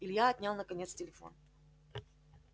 илья отнял наконец телефон